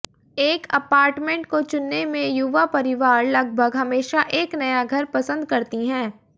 एक अपार्टमेंट को चुनने में युवा परिवार लगभग हमेशा एक नया घर पसंद करती हैं